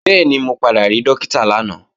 Bẹ́ẹ̀ni, mo padà rí Dókítà lánàá